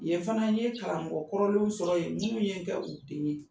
Ye fana n ye karamɔgɔ kɔrɔlenw sɔrɔ yen minnu ye n kɛ, u de ye.